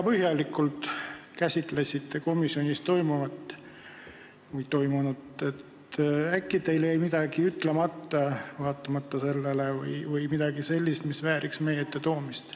Te küll käsitlesite väga põhjalikult komisjonis toimunut, aga äkki teil jäi vaatamata sellele ütlemata midagi sellist, mis vääriks meie ette toomist.